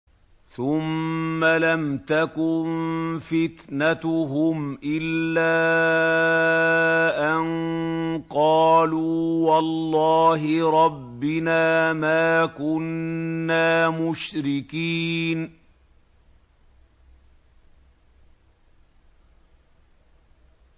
ثُمَّ لَمْ تَكُن فِتْنَتُهُمْ إِلَّا أَن قَالُوا وَاللَّهِ رَبِّنَا مَا كُنَّا مُشْرِكِينَ